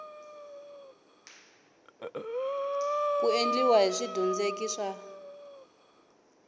ku endliwa hi swidyondzeki swa